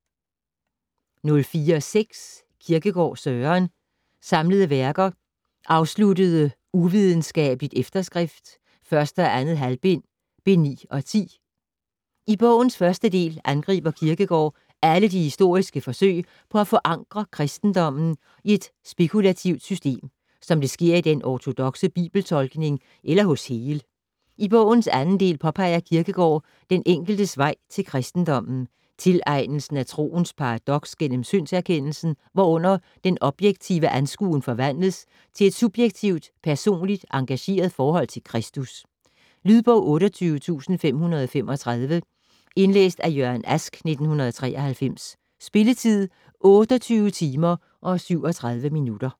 04.6 Kierkegaard, Søren: Samlede Værker: Afsluttende uvidenskabelig Efterskrift, 1. og 2. halvbind: Bind 9 og 10 I bogens første del angriber Kierkegård alle de historiske forsøg på at forankre kristendommen i et spekulativt system, som det sker i den ortodokse Bibel-tolkning eller hos Hegel. I bogens anden del påpeger Kierkegård den enkeltes vej til kristendommen, tilegnelsen af troens paradoks gennem syndserkendelsen, hvorunder den objektive anskuen forvandles til et subjektivt, personligt engageret forhold til Kristus. Lydbog 28535 Indlæst af Jørgen Ask, 1993. Spilletid: 28 timer, 37 minutter.